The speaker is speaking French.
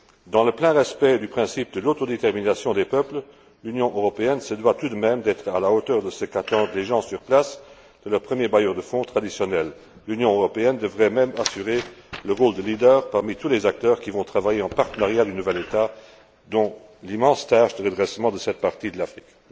Dans le plein respect du principe de l'autodétermination des peuples, l'Union européenne se doit tout de même d'être à la hauteur de ce qu'attendent les gens sur place de leur premier bailleur de fonds traditionnel. L'Union européenne devrait même assurer le rôle de leader parmi tous les acteurs qui vont travailler en partenariat du nouvel État dans l'immense tâche de redressement de cette partie de l'Afrique.